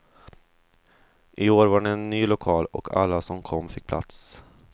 I år var det ny lokal och alla som kom fick plats.